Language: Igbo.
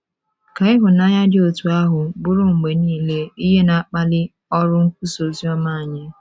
Ka ịhụnanya dị otú ahụ bụrụ mgbe nile ihe na - akpali ọrụ nkwusa ozioma anyị!